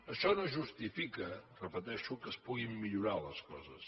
això no justifica ho repeteixo que es puguin millorar les coses